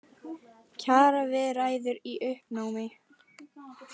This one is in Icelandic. Kjaraviðræður í uppnámi